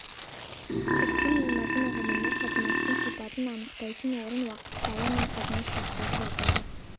сыртқы мәнмәтін ұғымына қатынастың сипатын анықтайтын орын уақыт сала мен қатынас шарттары жатады